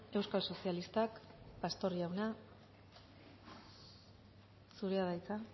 euskal sozialistak pastor jauna zurea da hitza